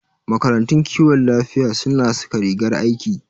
Makarantun kiwon lafiya suna saka rigar aiki.